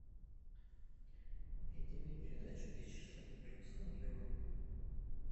найди мне передачу вечер с владимиром соловьевым